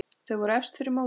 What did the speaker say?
Þau voru efst fyrir mótið.